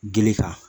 Gili kan